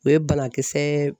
O ye banakisɛ